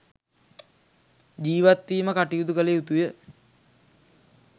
ජීවත්වීම කටයුතු කළ යුතුය.